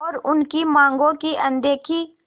और उनकी मांगों की अनदेखी